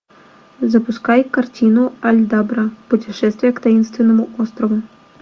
запускай картину альдабра путешествие к таинственному острову